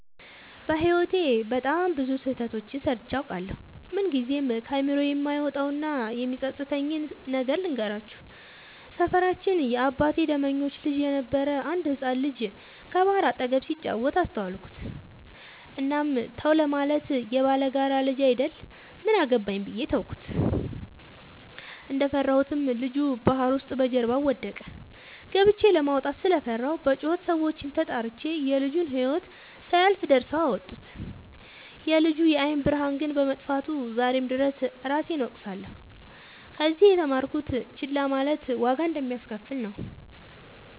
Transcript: በህይወቴ በጣም ብዙ ስህተቶችን ሰርቸ አውቃለሁ። ምንግዜም ከአይምሮዬ የማይወጣው እና የሚፀፅተኝን ነገር ልንገራችሁ። ሰፈራችን የአባቴ ደመኞች ልጅ የነበረ አንድ ህፃን ልጅ ከባህር አጠገብ ሲጫወት አስተዋልኩት። እናም ተው ለማለት የባላጋራ ልጅ አይደል ምን አገባኝ ብዬ ተውኩት። እንደፈራሁትም ልጁ ባህር ውስጥ በጀርባው ወደቀ። ገብቸ ለማውጣት ስለፈራሁ በጩኸት ሰዎችን ተጣርቸ የልጁ ህይወት ሳያልፍ ደርሰው አወጡት። የልጁ የአይን ብርሃን ግን በመጥፋቱ ዛሬም ድረስ እራሴን እወቅሳለሁ። ከዚህ የተማርኩት ችላ ማለት ዋጋ እንደሚያሰከፍል ነው።